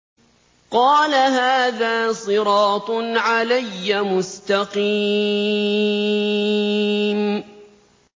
قَالَ هَٰذَا صِرَاطٌ عَلَيَّ مُسْتَقِيمٌ